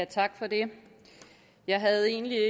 tak for det jeg havde egentlig